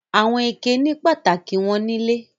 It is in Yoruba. Àwọn ike ní pàtàkì wọn nílé.